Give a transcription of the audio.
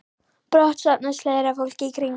Brátt safnast fleira fólk í kring.